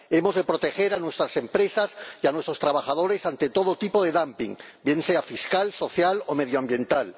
Hemos de proteger a nuestras empresas y a nuestros trabajadores ante todo tipo de dumping, bien sea fiscal, social o medioambiental.